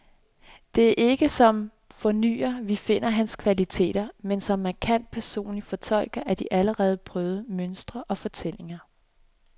Det er ikke som fornyer, vi finder hans kvaliteter, men som markant personlig fortolker af de allerede prøvede mønstre og fortællinger.